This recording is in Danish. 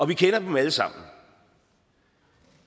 vi kender dem alle sammen